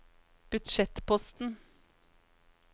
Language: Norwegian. budsjettposten